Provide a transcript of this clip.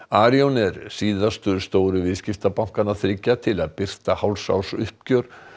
Arion er síðastur stóru viðskiptabankanna þriggja til að birta hálfsársuppgjör